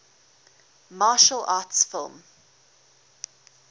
martial arts film